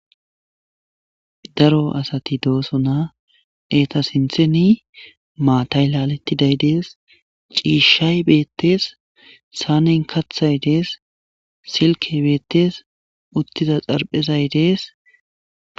daro asati doosona eeta sintheni maatay laalettiday dees ciishshay beettees saanen kaththay dees silkey beettes uttiza xarphezay dees.